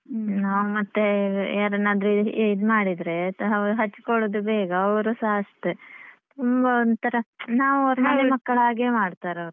ನಾವ್ ಮತ್ತೆ ಯಾರನ್ನು ಆದ್ರೂ ಇದ್ ಮಾಡಿದ್ರೆ ಅವರು ಹಚ್ಕೊಳ್ಳೋದು ಬೇಗ ಅವರುಸ ಅಷ್ಟೇ ತುಂಬ ಒಂಥರಾ ನಾವ್ ಅವರ ಮನೆ ಮಕ್ಕಳಾಗೆ ಮಾಡ್ತಾರೆ ಅವರು ಆಗ ಖುಷಿ ಆಗ್ತದ್ದೆ.